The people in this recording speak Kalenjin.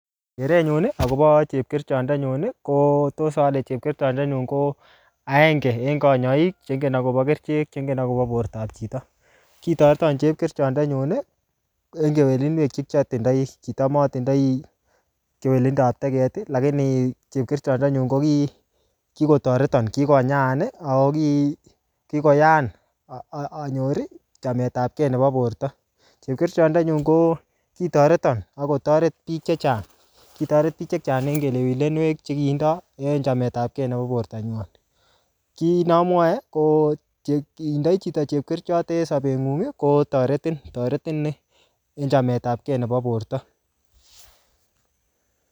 Keret nyun, akobo chepkerichotndenyun, ko tos ale chepkerichotndenyun ko agenge en kanyaik che ingen akobo kerichek, che ingen akobo bortop chito. Kitoreton chepkerichotndenyun, eng kewelinwek che kiatindoi. Kicham atindoi kewelindop e, lakini chepkerichotndenyun, ko ki-ko kikotoreton kikonyaan, ako ki-kikoyaan anyor chametapkey nebo borto. Chepkerichotndenyun ko kitoreton akotoret biik chechang. Kitoret biik chechang eng kelewilenwek che kitindoi eng chametapkey nebo borto nywan. Kit ne amwae, ko ngitindoi chito chepkerichot neg sabet ngung kotoretin. Toretin en chametapkey nebo borto.